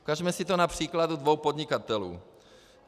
Ukažme si to na příkladu dvou podnikatelů.